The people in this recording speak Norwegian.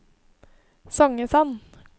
Songesand